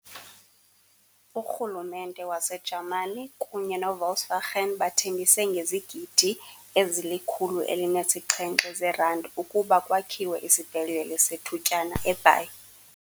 URhulumente waseJamani kunye no-Volkswagen bathembise ngezigidi ezili-107 zeerandi ukuba kwakhiwe isibhedlele sethutyana eBhayi.